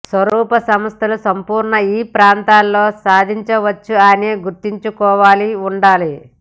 స్వరూపం సంస్థలు సంపూర్ణ ఈ ప్రాంతంలో సాధించవచ్చు అని గుర్తుంచుకోవాలి ఉండాలి